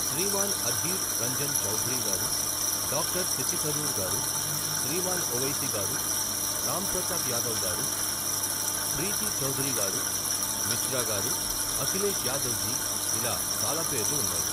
శ్రీమాన్ అధీర్ రంజన్ చౌధరీ గారు, డాక్టర్ శశి థరూర్ గారు, శ్రీమాన్ ఒవైసీ గారు, రాంప్రతాప్ యాదవ్ గారు, ప్రీతి చౌధరీ గారు, మిశ్రా గారు, అఖిలేశ్ యాదవ్ జీ, ఇలా చాలా పేర్లు ఉన్నాయి.